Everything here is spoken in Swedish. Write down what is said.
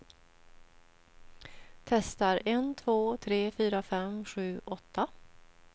Testar en två tre fyra fem sex sju åtta.